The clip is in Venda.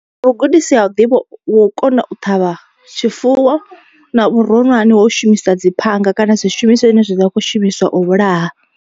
Vhugudisi ha u ḓivha wa u kona u ṱhavha tshifuwo na vhuronwane ha u shumisa dzi phanga kana zwishumiswa zwine zwa kho shumiswa u vhulaha.